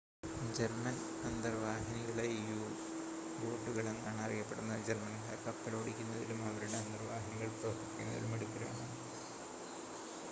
German അന്തർവാഹിനികളെ യു-ബോട്ടുകൾ എന്നാണ് അറിയപ്പെടുന്നത് ജർമ്മൻകാർ കപ്പലോടിക്കുന്നതിലും അവരുടെ അന്തർവാഹിനികൾ പ്രവർത്തിപ്പിക്കുന്നതിലും മിടുക്കരാണ്